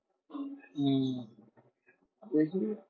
হম দেখি।